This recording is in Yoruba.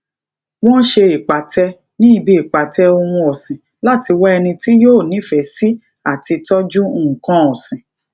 wón se ipate ní ibi ipate ohun ọsin láti wá ẹní ti yóò nifee sí ati toju nnkan osin